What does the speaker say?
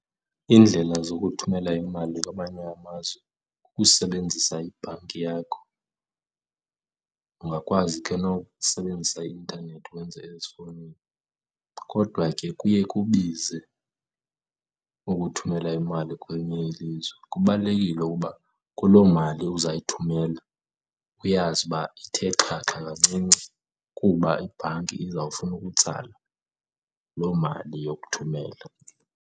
Iindlela zokuthumela imali kwamanye amazwe kukusebenzisa ibhanki yakho. Ungakwazi ke nokusebenzisa i-intanethi wenze ezifowunini kodwa ke kuye kubize ukuthumela imali kwelinye ilizwe. Kubalulekile ukuba kulo mali uzayithumela uyazi ukuba ithe xhaxha kancinci kuba ibhanki izawufuna ukutsala lo mali yokuthumela.